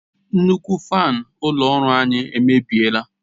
Nnukwu fanu ulo ọrụ anyi emebiela